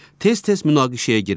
Tez-tez münaqişəyə girirlər.